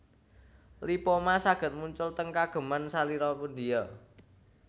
Lipoma saged muncul teng kageman salira pundia